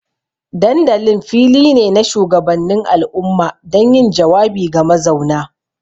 Dandalin fili ne na shugabannin al'umma don yin jawabi ga mazauna.